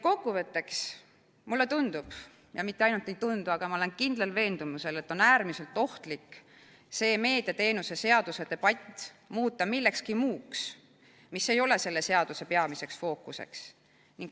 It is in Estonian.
Kokkuvõtteks, mulle tundub – ja mitte ainult ei tundu, vaid ma olen kindlal veendumusel –, et on äärmiselt ohtlik muuta see meediateenuste seaduse debatt millekski muuks, mis ei ole selle seaduse peamiseks fookuseks.